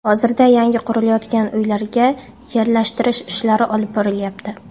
Hozirda yangi qurilayotgan uylarga yerlashtirish ishlari olib borilyapti.